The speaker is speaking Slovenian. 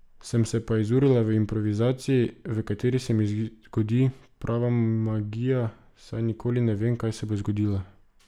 Sem se pa izurila v improvizaciji, v kateri se mi zgodi prava magija, saj nikoli ne vem, kaj se bo zgodilo.